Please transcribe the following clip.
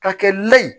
Ka kɛ lɛ ye